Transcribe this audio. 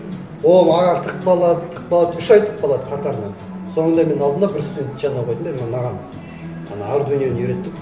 ол ары тықпалады тықпалады үш ай тықпалады қатарынан соңында мен алдым да бір студентті жанына қойдым да мынаған ана ардуиноны үйретіп